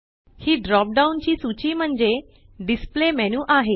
ही drop down ची सूची म्हणजे डिस्प्ले मेनू आहे